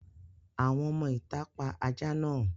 Àwọn ọmọ-ìtà pa ajá náà.